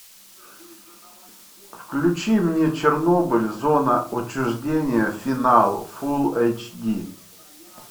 включи мне чернобыль зона отчуждения финал фулл эйч ди